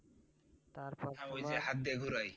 ওই যে হাত দিয়ে ঘুরোয়